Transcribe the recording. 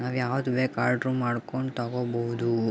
ನಾವು ಯಾವುದು ಬೇಕು ಆರ್ಡರ್ ಮಾಡ್ಕೊಂಡು ತಗೋಬೋದು.